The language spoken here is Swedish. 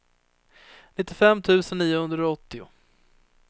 nittiofem tusen niohundraåttio